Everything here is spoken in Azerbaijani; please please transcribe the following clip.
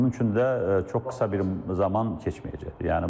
Bunun üçün də çox qısa bir zaman keçməyəcək.